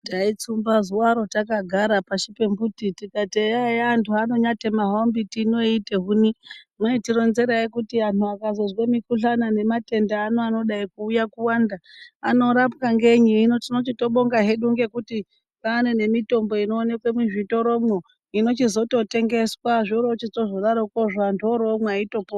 Taitsumba zuwaro takagara pashi pemumbiti eya eya hawo anthu haanonyatema hawo mbiti ino eiite huni, mweitironzeraye kuti anthu akazozwe mikhuhlani nematenda anodai kuuya kuwanda anorapwa ngenyi hino tinochitobonga hedu ngekuti kwaane nemitombo inoonekwe muzvitoromwo inochizototengeswa zvoorochizotodarokwozvo anthu oroomwa anthu eito.....